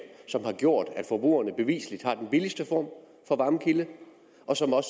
som har gjort at forbrugerne bevisligt har den billigste form for varmekilde og som